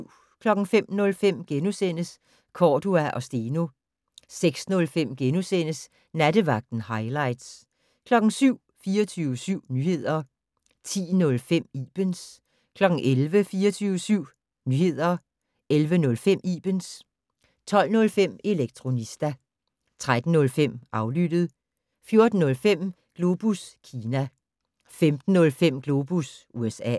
05:05: Cordua & Steno * 06:05: Nattevagten - hightlights * 07:00: 24syv Nyheder 10:05: Ibens 11:00: 24syv Nyheder 11:05: Ibens 12:05: Elektronista 13:05: Aflyttet 14:05: Globus Kina 15:05: Globus USA